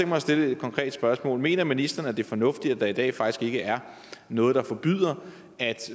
mig at stille et konkret spørgsmål mener ministeren at det er fornuftigt at der i dag faktisk ikke er noget der forbyder at